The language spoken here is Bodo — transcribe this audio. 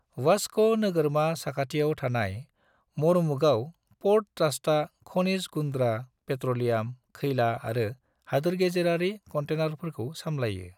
वास्को नोगोरमा साखाथियाव थानाय मोरमुगाओ पोर्ट ट्रस्टआ खनिज गुन्द्रा, पेट्रोलियम, खैला आरो हादोरगेजेरारि कंटेनरफोरखौ सामलायो।